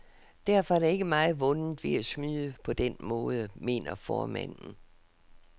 Derfor er der ikke meget vundet ved at snyde på den måde, mener formanden.